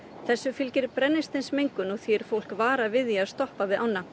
þessu fylgir brennisteinsmengun og því er fólk varað við því að stoppa við ána